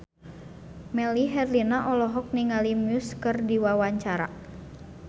Melly Herlina olohok ningali Muse keur diwawancara